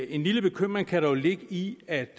en lille bekymring kan dog ligge i at